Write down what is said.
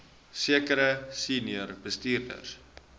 sekere senior bestuurders